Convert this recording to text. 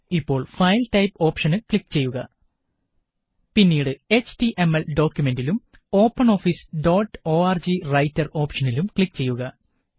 ഇപ്പോള് file type option click ചെയ്യുക പിന്നീട് എച്ടിഎംഎൽ ഡോക്കുമന്റിലും Open Office dot org Writer ഓപ്ഷനിലും ക്ലിക്ക് ചെയ്യുക